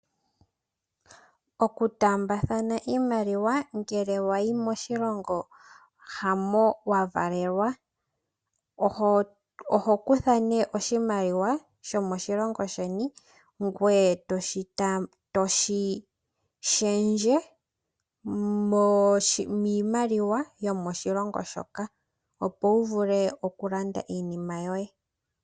Oku tambathana iimaliwa ngele wayi moshilongo hamo wa valelwa oho kutha oshimaliwa shomo shilongo sheni ngwe etoshi shengele miimaliwa yomo shilongo shoka opo wu vule okulanda iinima yoye.